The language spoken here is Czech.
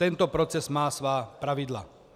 Tento proces má svá pravidla.